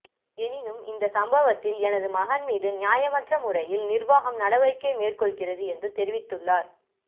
எனினும் இந்த சம்பவத்தில் எனது மகன் மீது நியாயமற்ற முறையில் நிர்வாகம் நடவடிக்கை மேற்கொள்கிறது என்று தெரிவித்துள்ளார்